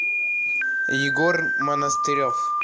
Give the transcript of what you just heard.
егор монастырев